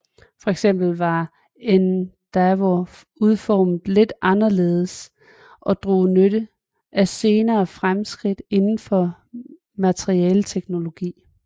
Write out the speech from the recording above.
Fx var Endeavour udformet lidt anderledes og drog nytte af senere fremskridt indenfor materialeteknologi